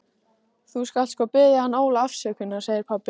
Þú skalt sko biðja hann Óla afsökunar, segir pabbi.